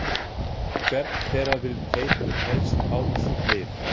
Hvern þeirra vill Teitur helst fá í sitt lið?